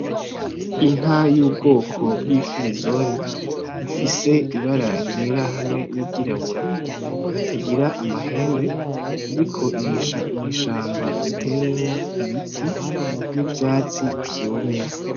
Inka y'ubwoko bw'ifirizoni, ifise ibara ryera hamwe n'iryirabura, itagira amahembe, iriko irisha mw'ishamba ritewemwo ibiti, n'ivyatsi vyumye.